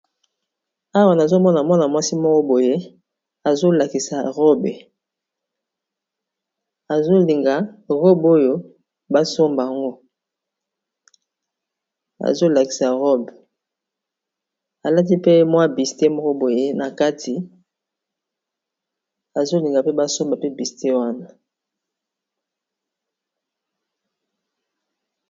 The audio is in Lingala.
awa nazomona mwana mwasi moko boye zolinga robe oyo basombang azolakisa robe alati pe mwa bisite moko boye na kati azolinga mpe basomba pe biste wana